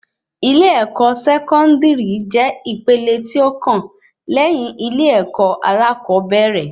Ilé-èkó sẹkọndiri jẹ ìpele tí ó kàn léyìn ilé-èkó alakobere